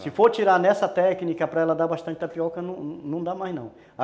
Se for tirar nessa técnica para ela dar bastante tapioca, não não dá mais não.